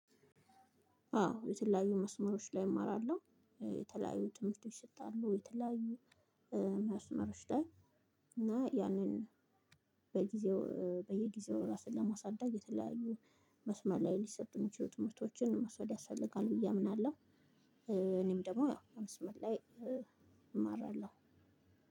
አዎ የተለያዩ መስመሮች ላይ እማራለሁ የተለያዩ ትምህርት ይሰጣሉ የተለያዩ መስመሮች ላይ እና ያንን በጊዜው በየጊዜው ራስን ለማሳደግ የተለያዩ መስመር ላይ ሊሰጡ የሚችሉ ትምህርቶችንመውሰድ ያስፈልጋል ብዬ አምናለሁ። እኔም ደግሞ ያው መስመር ላይ እማራለሁ።